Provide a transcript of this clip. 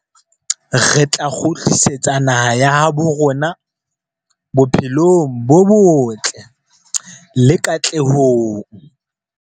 Re tla kgutlisetsa naha ya habo rona bophelong bo botle le katlehong.